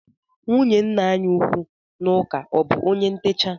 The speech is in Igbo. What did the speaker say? Nwunye nna anyị ukwu n'ụka ọ bụ onye ntecha?